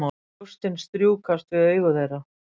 Brjóstin strjúkast við augu þeirra.